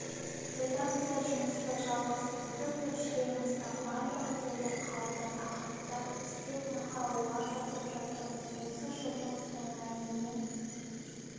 редакция жұмысты жалғастыруда тілшілеріміздің барлығы дерлік қалды тақырыптар іздеп мақалалар жазып жатырмыз осы жылдың соңына дейін